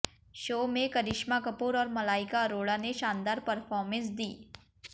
show में करिश्मा कपूर और मलाइका अरोड़ा ने शानदार परफॉर्मेंस दी